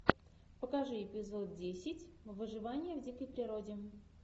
покажи эпизод десять выживание в дикой природе